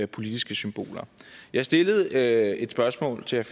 politiske symboler jeg stillede et spørgsmål til